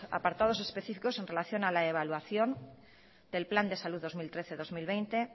apartados específicos en relación a la evaluación del plan de salud dos mil trece dos mil veinte